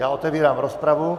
Já otevírám rozpravu.